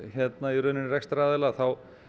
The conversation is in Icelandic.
í rauninni rekstraraðila þá